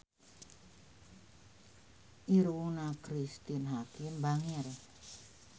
Irungna Cristine Hakim bangir